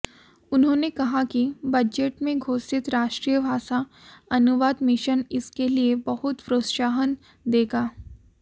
उन्होंने कहा कि बजट में घोषित राष्ट्रीय भाषा अनुवाद मिशन इसके लिए बहुत प्रोत्साहन देगा